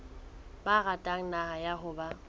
ba ratang naha ya habo